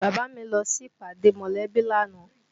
Bàbá mi lọ sí ìpàdé mọ̀lẹ́bí lánàá